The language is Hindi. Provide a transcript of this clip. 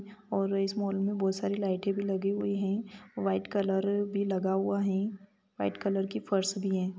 और इस माल में बहुत सारे लाइट भी लगे हुए हैं मैं और वाइट कलर भी लगा हुआ हैं मैं और वाइट कलर की फर्स भी हैं।